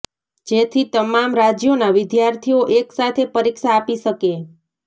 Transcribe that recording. જેથી તમામ રાજ્યોના વિદ્યાર્થીઓ એક સાથે પરીક્ષા આપી શકે